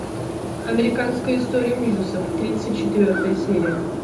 американская история ужасов тридцать четвертая серия